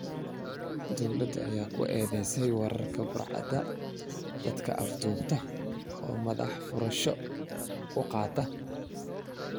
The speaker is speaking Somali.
Dowladda ayaa ku eedeysay weerarkaas burcadda dadka afduubta oo madax furasho ka qaata.